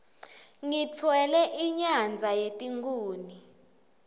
ngitfwele inyadza yetikhuni